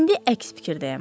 İndi əks fikirdəyəm.